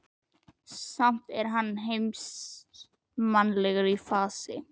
Samt er hann heimsmannslegur í fasi.